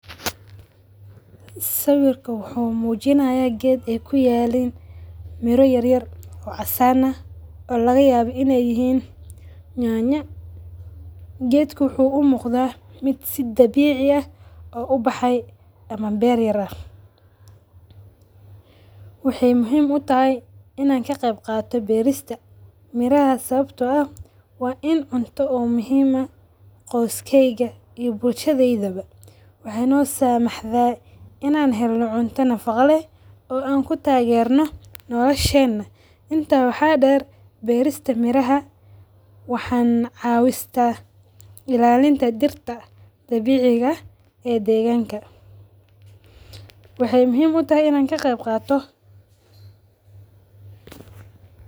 Sawirkan wuxuu mujinayaa geed ee kuyalan miiro yar yar oo casaan ah oo laga yawa in ee yihin nyanya, geedka wuxuu u muqdaa miid si dabixi ah oo u baxay ama beer yar ah, wexee muhiim u tahay in aad ka qeyb qadatiid berista miraha sawabto ah waa dil cunto oo muhiim ah qoskeyga iyo bulshadheydawa wexee no samaxda in aan helno cunta nafaqa leh oo ku tagerno noloshena, inta waxa deer berista miiraha, waxaa ilalista cawinta dirta dabiciga eh oo deganka, wexee muhiim u tahay in an ka qeyb qato.